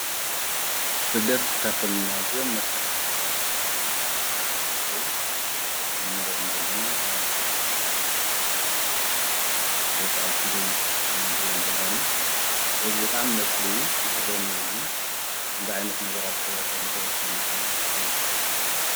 ስደት ካፍቶም ማዚዮም መስካሕ ካሕቲ ዘበሃሉ ነገራት ሓደንኸዉን ዞም ነርዮም ዘለና ኣብ ሥደተን ያታ ድማ ኣብ ሓደት ኣውኪዶም ኢነንርዮም ዘለና ለዝ ብጣም መጽሊ ምሕዘንውን እዩ ከምዝ ዓይነት ነገራት ክልኸሎኅ ወይ ክሰምዕኸሎ ኣዓሚ ይዘሕዘነኒ።